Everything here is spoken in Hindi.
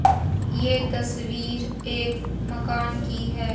ये तस्वीर एक मकान की है।